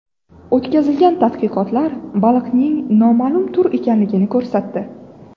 O‘tkazilgan tadqiqotlar baliqning noma’lum tur ekanligini ko‘rsatdi.